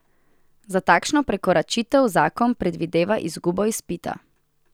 Za takšno prekoračitev zakon predvideva izgubo izpita.